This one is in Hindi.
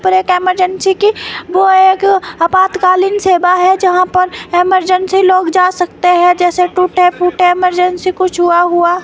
पर एक इमरजेंसी की वो एक आपातकालीन सेवा है जहां पर इमरजेंसी लोग जा सकते हैं जैसे टूटे फूटे इमरजेंसी कुछ हुआ।